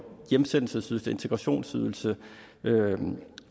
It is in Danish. hjemsendelsesydelse integrationsydelse